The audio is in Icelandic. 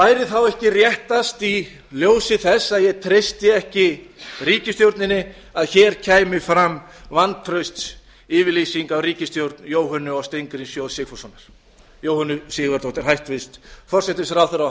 væri þá ekki réttast í ljósi þess að ég treysti ekki ríkisstjórninni að hér kæmi fram vantraustsyfirlýsing á ríkisstjórn jóhönnu sigurðardóttur hæstvirtur forsætisráðherra og